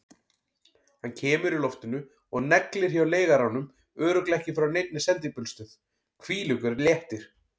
Hann kemur í loftinu og neglir hjá leigaranum, örugglega ekki frá neinni sendibílastöð, hvílíkur léttir!